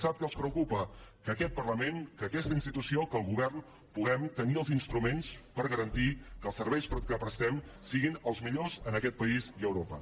sap què els preocupa que aquest parlament que aquesta institució que el govern puguem tenir els instruments per garantir que els serveis que prestem siguin els millors en aquest país i a europa